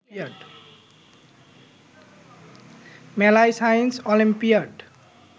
মেলায় science olympiad